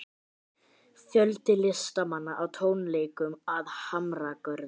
Fjöldi listamanna á tónleikum að Hamragörðum